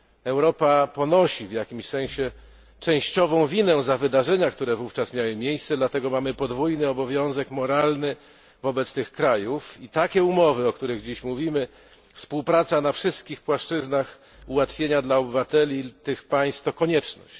Europa ponosi w jakimś sensie częściową winę za wydarzenia, które wówczas miały miejsce, dlatego mamy podwójny obowiązek moralny wobec tych krajów i takie umowy, o których dziś mówimy współpraca na wszystkich płaszczyznach, ułatwienia dla obywateli tych państw to konieczność.